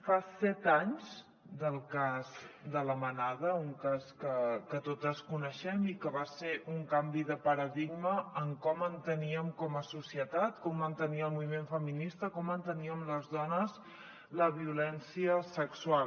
fa set anys del cas de la manada un cas que totes coneixem i que va ser un canvi de paradigma en com enteníem com a societat com entenia el moviment feminista com enteníem les dones la violència sexual